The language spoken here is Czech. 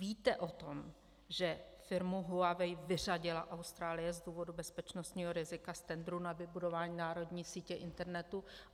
Víte o tom, že firmu Huawei vyřadila Austrálie z důvodu bezpečnostního rizika z tendru na vybudování národní sítě internetu?